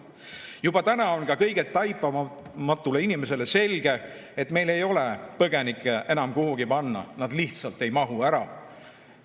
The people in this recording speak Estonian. Juba täna on ka kõige taipamatumale inimesele selge, et meil ei ole põgenikke enam kuhugi panna, nad lihtsalt ei mahu ära.